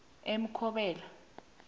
emkobola